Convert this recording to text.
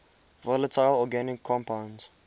volatile organic compounds